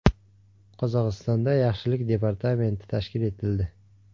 Qozog‘istonda yaxshilik departamenti tashkil etildi.